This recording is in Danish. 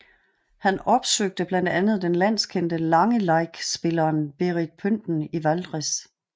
Han opsøgte blandt andet den landskendte langeleikspilleren Berit Pynten i Valdres